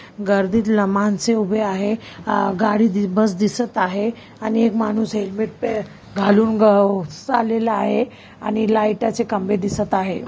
गर्दीतले मानस उभी आहे आ गाड़ी बस दिसत आहे आणि मानुस हैंलमेट पे घालून चाललेला आहे आणि लाइट चे खंबे दिसत आहे.